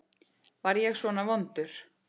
Var ég svona vondur?